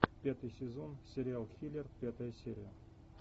пятый сезон сериал хилер пятая серия